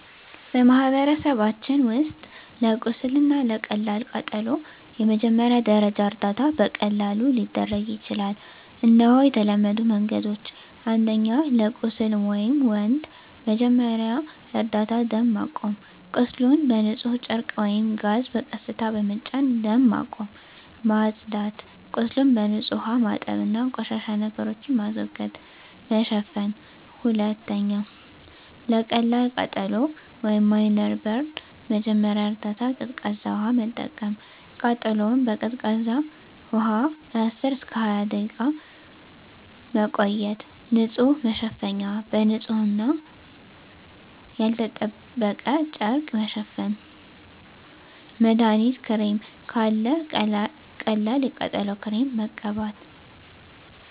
በማህበረሰባችን ውስጥ ለቁስል እና ለቀላል ቃጠሎ የመጀመሪያ ደረጃ እርዳታ በቀላሉ ሊደረግ ይችላል። እነሆ የተለመዱ መንገዶች፦ 1. ለቁስል (Wound) መጀመሪያ እርዳታ ደም ማቆም – ቁስሉን በንጹህ ጨርቅ ወይም ጋዝ በቀስታ በመጫን ደም ማቆም። ማጽዳት – ቁስሉን በንጹህ ውሃ ማጠብ እና ቆሻሻ ነገሮችን ማስወገድ። መሸፈን – 2. ለቀላል ቃጠሎ (Minor Burn) መጀመሪያ እርዳታ ቀዝቃዛ ውሃ መጠቀም – ቃጠሎውን በቀዝቃዛ ውሃ ለ10–20 ደቂቃ መቆየት። ንጹህ መሸፈኛ – በንጹህ እና ያልተጠበቀ ጨርቅ መሸፈን። መድሀኒት ክሬም – ካለ ቀላል የቃጠሎ ክሬም መቀበት።